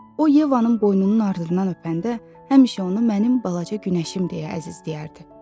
O Yevanın boynunun ardından öpəndə həmişə ona mənim balaca günəşim deyə əzizləyərdi.